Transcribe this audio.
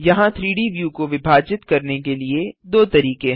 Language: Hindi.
यहाँ 3डी व्यू को विभाजित करने के लिए दो तरीके हैं